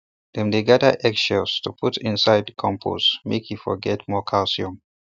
dem dey gather egg shells to put inside compost make e for get more calcium